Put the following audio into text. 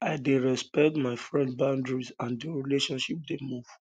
i dey respect my friends boundary and di relationship dey move